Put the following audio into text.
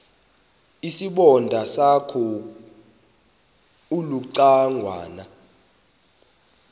isibonda sakho ulucangwana